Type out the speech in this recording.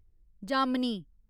जामनी